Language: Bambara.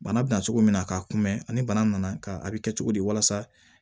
Bana bɛ na cogo min na k'a kunbɛn ani bana nana a bɛ kɛ cogo di walasa